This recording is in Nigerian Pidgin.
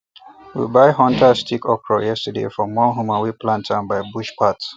we buy hunter stick okra yesterday from one woman wey plant am by bush path